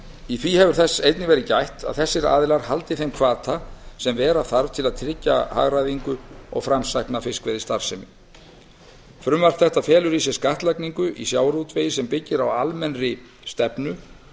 í því hefur þess einnig verið gætt að þessir aðilar haldi þeim hvata sem vera þarf til að tryggja hagræðingu og framsækna fiskveiðistarfsemi frumvarp þetta felur í sér skattlagningu í sjávarútvegi sem byggir á almennri stefnu